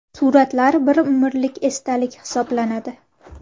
Suratlar – bir umrlik esdalik hisoblanadi.